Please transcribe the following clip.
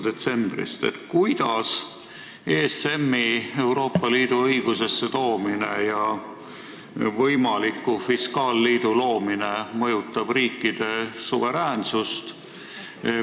Kuidas ESM-i Euroopa Liidu õigusesse toomine ja võimaliku fiskaalliidu loomine mõjutab riikide suveräänsust?